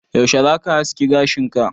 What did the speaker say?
Yaushe zaka haski gashin ka?